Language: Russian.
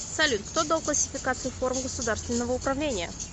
салют кто дал классификацию форм государственного управления